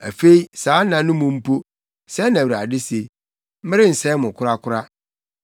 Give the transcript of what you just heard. “Afei saa nna no mu mpo,” sɛɛ na Awurade se, “Merensɛe mo korakora.